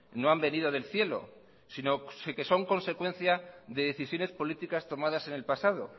no han venido del cielo sino que son consecuencia de decisiones políticas tomadas en el pasado